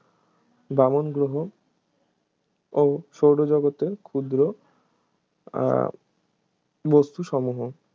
বামন গ্রহ ও সৌরজগতের ক্ষুদ্র আহ বস্তুসমূহ